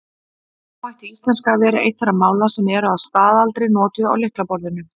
Nú ætti íslenska að vera eitt þeirra mála sem eru að staðaldri notuð á lyklaborðinu.